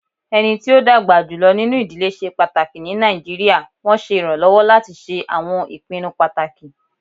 Ẹni tí ó dàgbà jùlọ nínú ìdílé ṣe pàtàkì ní Nàìjíríà, wọn ṣe iranlọwọ lati ṣe awọn ipinnu pataki.